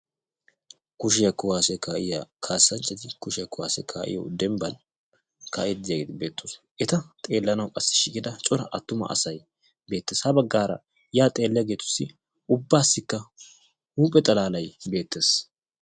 Kushiya kuwaasiya kaa'iya kaassanchchati kushiya kuwaasiya kaa'iyo dembban kaa'iiddi diyageeti beettoosona. Eta xeellanawu qassi shiiqida cora asay beettes. Ha baggaara yaa xeelliyageetussi ubbaassikka huuphe xalaalay beettes.